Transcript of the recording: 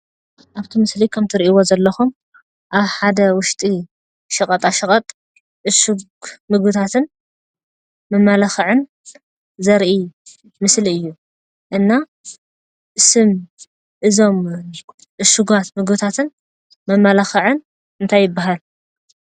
ኣፍቲ ምስሊ ከም እትሪእዎ ዘለኹም ኣብ ሓደ ውሽጢ ሸቐጣሸቐጥ፣ ዕሹግ ምግብታትን መመላኽዕን ዘርኢ ምስሊ እዩ፡፡ እና ስም እዞም ዕሹጋት ምግብታትን መመላኽዕን እንታይ ይበሃል?